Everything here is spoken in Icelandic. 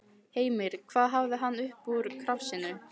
Heimir: Hvað hafði hann upp úr krafsinu?